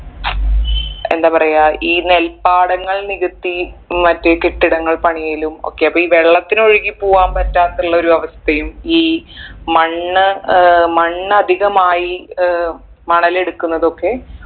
എന്താ പറയാ ഈ നെൽപ്പാടങ്ങൾ നികത്തി മറ്റ് കെട്ടിടങ്ങൾ പണിയലും ഒക്കെ അപ്പൊ ഈ വെള്ളത്തിന് ഒഴുകി പോവാൻ പറ്റാത്ത ഉള്ളൊരു അവസ്ഥയും ഈ മണ്ണ് ഏർ മണ്ണ് അധികമായി ഏർ മണൽ എടുക്കുന്നതൊക്കെ